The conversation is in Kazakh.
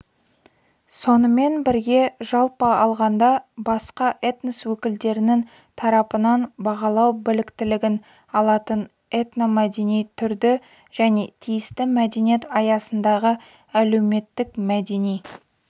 сонымен бірге жалпы алғанда басқа этнос өкілдерінің тарапынан бағалау біліктілігін алатын этномәдени түрді және тиісті мәдениет аясындағы әлеуметтік-мәдени